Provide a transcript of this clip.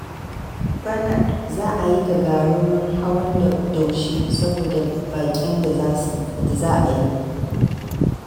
Bana za a yi gagarumin hawan daushe, saboda baƙin da za a yi.